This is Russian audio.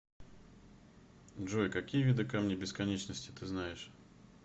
джой какие виды камни бесконечности ты знаешь